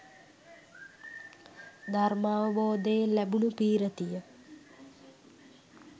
ධර්මාවබෝධයෙන් ලැබුණු පී්‍රතිය